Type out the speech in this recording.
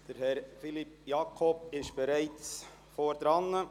Herr Philippe Jakob ist bereits hier vorne.